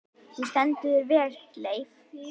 Þú stendur þig vel, Leif!